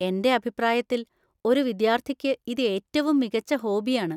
എന്റെ അഭിപ്രായത്തിൽ, ഒരു വിദ്യാർത്ഥിക്ക് ഇത് ഏറ്റവും മികച്ച ഹോബിയാണ്.